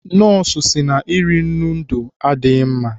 Nọọsụ sị na iri nnu ndụ adịghị mma.